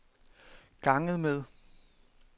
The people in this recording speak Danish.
ganget med